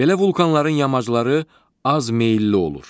Belə vulkanların yamacları az meyilli olur.